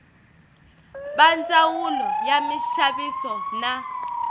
va ndzawulo ya minxaviso na